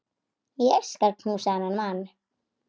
Ég skal knúsa þennan mann!